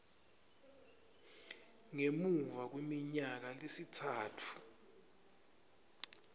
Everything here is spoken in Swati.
ngemuva kweminyaka lemitsatfu